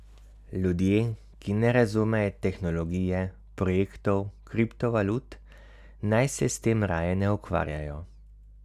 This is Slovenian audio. Ljudje, ki ne razumejo tehnologije, projektov, kriptovalut, naj se s tem raje ne ukvarjajo.